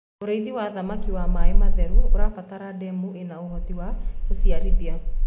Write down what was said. ũrĩithi wa thamakĩ wa maĩ matheru ũrabatara ndemu ina ũhoti wa gũciarithia